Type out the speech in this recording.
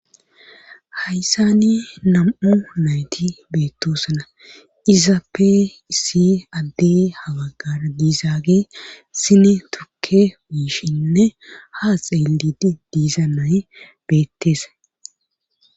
hayssani nam7u nayti beettoosana izappe issi adde hawaggada diizaage sine tukke wuishinne ha xeellidi diiza nay beetteese